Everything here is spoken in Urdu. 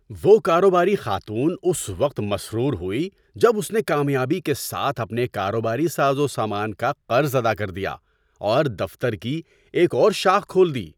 وہ کاروباری خاتون اس وقت مسرور ہوئی جب اس نے کامیابی کے ساتھ اپنے کاروباری ساز و سامان کا قرض ادا کر دیا اور دفتر کی ایک اور شاخ کھول دی۔